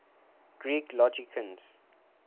greek logicians